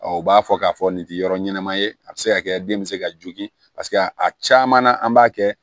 u b'a fɔ k'a fɔ nin tɛ yɔrɔ ɲɛnama ye a bɛ se ka kɛ den bɛ se ka jogin paseke a caman na an b'a kɛ